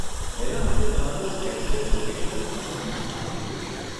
એના માટે તમારું એક્ઝેક્ટ લોકેશન અને બીજી માહિતી જોઈશે.